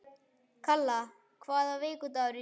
Kalla, hvaða vikudagur er í dag?